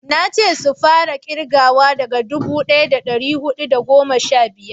nace su fara kirgawa daga dubu daya da dari hudu da goma sha biyar